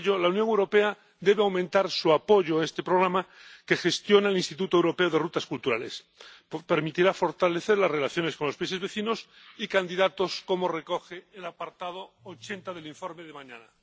Por ello, la Unión Europea debe aumentar su apoyo a este programa que gestiona el Instituto Europeo de Itinerarios Culturales, pues permitirá fortalecer las relaciones con los países vecinos y candidatos, como recoge el apartado 80 del informe de mañana.